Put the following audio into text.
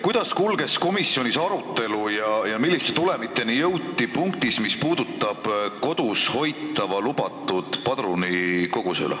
Kuidas kulges komisjonis arutelu ja milliste tulemiteni jõuti punktis, mis puudutab kodus hoitavat lubatud padrunikogust?